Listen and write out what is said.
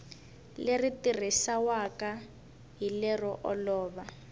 leri tirhisiwaka hi lero olova